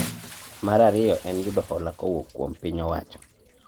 Mar ariyo en yudo hola kowuok kuom piny owacho